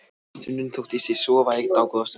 Stundum þóttist ég sofa í dágóða stund.